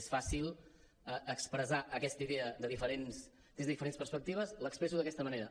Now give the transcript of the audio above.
és fàcil expressar aquesta idea des de diferents perspectives l’expresso d’aquesta manera